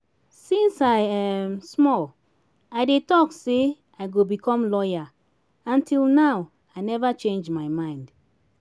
since i um small i dey talk say i go become lawyer and till now i never change my mind